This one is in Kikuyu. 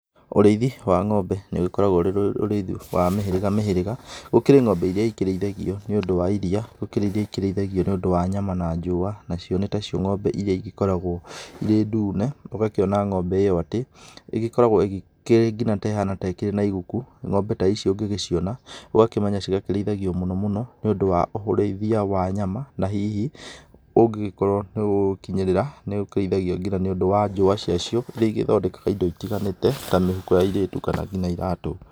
Ũrĩithi wa ng'ombe nĩ ũgĩkoragwo ũrĩ ũrĩithi wa mĩhĩrĩga mĩhĩrĩga. Gũkĩrĩ ng'ombe iria ikĩrĩithagio nĩ ũndũ wa iria, gũkĩrĩ iria ikĩrĩithagio nĩ ũndũ wa nyama na njũa. Na cio nĩ tacio ng'ombe iria igĩkoragwo irĩ ndune ũgakiona ng'ombe ĩyo atĩ ĩkoragwo ĩgĩkĩrĩ nginya nĩ ta ĩrĩ na iguku. Ng'ombe ta icio ũngĩgĩciona ũgakĩmenya irĩithagio mũno mũno nĩ ũndũ wa ũrĩithia wa nyama na hihi ũngĩgĩkorwo nĩ ũgũkinyĩrira, nĩ irĩithagio nginya nĩ ũndũ wa njũa ciacio. Iria igĩthondekaga indo itiganĩte ta mĩhuko ya airĩtu kana ngina iratũ.